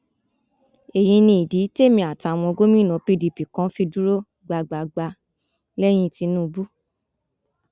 èyí ni ìdí témi àtàwọn gómìnà pdp kan fi dúró gbágbáágbá lẹyìn tìǹbù